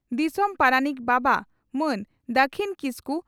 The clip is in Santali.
ᱫᱤᱥᱚᱢ ᱯᱟᱨᱟᱱᱤᱠ ᱵᱟᱵᱟ ᱢᱟᱱ ᱫᱟᱹᱠᱷᱤᱱ ᱠᱤᱥᱠᱩ